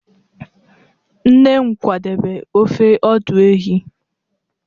nne m kwadebe ofe ọdụ ehi.